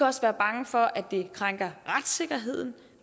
også være bange for at det krænker retssikkerheden